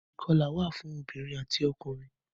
Ìkọlà wà fún obìrin ati ọkùnrin.